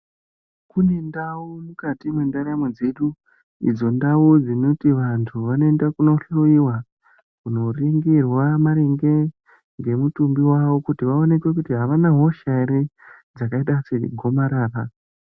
Kune ndau mwukati mwendaramo dzedu idzo ndau dzinoti vantu vanoenda kunohloyiwa, kunoringirwa maringe ngemitumbi wawo kuti vaonekwe kuti havana hosha ere dzakaita segomarara.